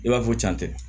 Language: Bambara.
I b'a fɔ ko can tɛ